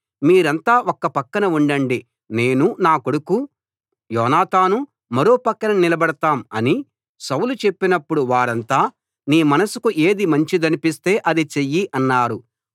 మీరంతా ఒక పక్కన ఉండండి నేనూ నా కొడుకు యోనాతానూ మరో పక్కన నిలబడతాం అని సౌలు చెప్పినప్పుడు వారంతా నీ మనసుకు ఏది మంచిదనిపిస్తే అది చెయ్యి అన్నారు